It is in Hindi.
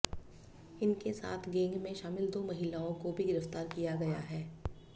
इनके साथ गैंग में शामिल दो महिलाओं को भी गिरफ्तार किया गया है